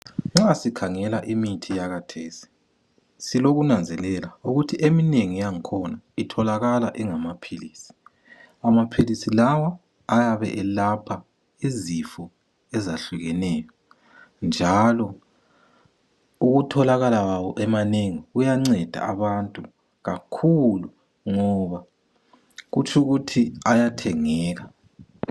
Nxa sikhangela imithi yakhathesi silokunanzelela, ukuthi eminengi yakhona itholakala ingamaphilisi . Amaphilisi lawo, ayabe elapha izifo ezahlukeneyo, njalo ukutholakala kwawo emanengi kuyanceda abantu kakhulu, ngoba kutsho ukuthi ayathengeka.